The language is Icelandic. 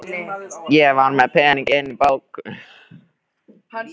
Ég var með pening inni á bók.